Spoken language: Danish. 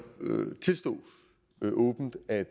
tilstå åbent at